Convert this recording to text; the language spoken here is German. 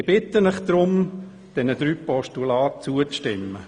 Ich bitte Sie deshalb, diesen drei Postulaten zuzustimmen.